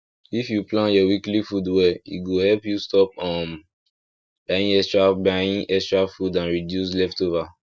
if you plan your weekly food well e go help you stop um buying extra buying extra food and reduce leftover